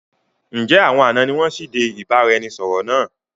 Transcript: Ǹ jẹ́ àwọn àná ni wọn sì dé ìbáraẹnisọọ̀rọ̀ náà?